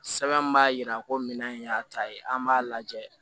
Sɛbɛn min b'a jira ko minɛn in y'a ta ye an b'a lajɛ